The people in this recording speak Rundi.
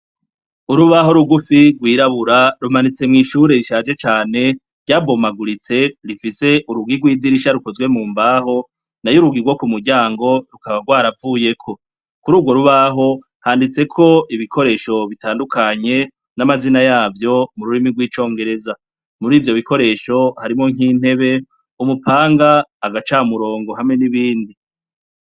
Urubaho rugufi rwirabura, rumanitse mw'ishure rishaje cane, ryabomaguritse, rifise urugi rw'idirisha rukozwe mu mbaho, nayo urugi rwo ku muryango, rukaba rwaravuyeko. Kuri urwo rubaho, handitseko ibikoresho bitandukanye, n'amazina yavyo, mu rurimi rw'icongereza. Muri ivyo bikoresho, harimwo nk'intebe, umupanga, agacamurongo, hamwe n'ibindi.